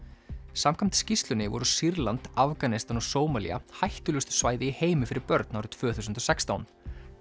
samkvæmt skýrslunni voru Sýrland Afganistan og Sómalía hættulegustu svæði í heimi fyrir börn árið tvö þúsund og sextán